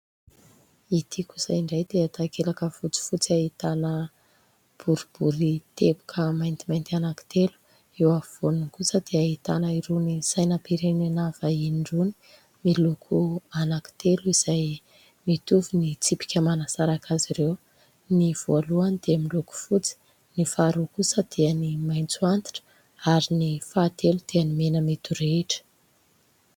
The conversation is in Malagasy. Ity kosa indray dia takelaka fotsifotsy ahitana borobory teboka maintimainty anak'itelo eo avy voany kosa dia ahitana irony sainam-pirenina vahiny irony, miloko anaky telo izay mitovy ny tsipika manasaraka azy ireo. Ny voalohany dia miloko fotsy ny faharoa kosa dia ny maitso antitra ary ny fahatelo dia mena midorehatra.